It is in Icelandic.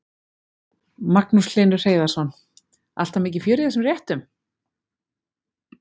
Magnús Hlynur Hreiðarsson: Alltaf mikið fjör í þessum réttum?